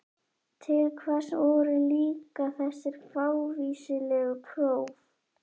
Til hvers voru líka þessi fávíslegu próf?